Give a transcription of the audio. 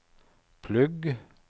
plugg